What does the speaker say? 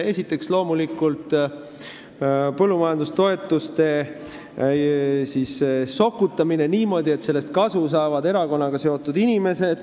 Esiteks, loomulikult põllumajandustoetuste sokutamine niimoodi, et sellest saavad kasu erakonnaga seotud inimesed.